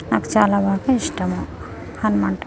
నాకు చాలా ఇస్తాము. హనుమాన్--